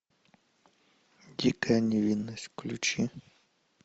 дикая невинность включи